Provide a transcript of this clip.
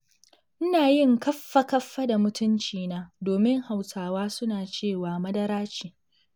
Ina yin kaffa-kaffa da mutuncina, domin Hausawa suna cewa madara ce.